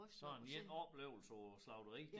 Sådan én oplevelse på slagteri